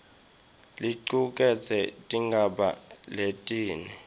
licuketse tigaba letine